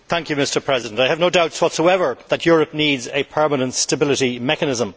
Mr President, I have no doubts whatsoever that Europe needs a permanent stability mechanism.